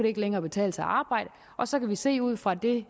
ikke længere betale sig at arbejde og så kan vi se ud fra det